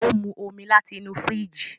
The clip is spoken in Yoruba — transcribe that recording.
O mu omí láti inú firiji